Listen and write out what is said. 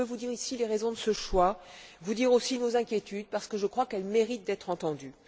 Je veux dire ici les raisons de ce choix, vous dire aussi nos inquiétudes, parce que je crois qu'elles méritent d'être entendues.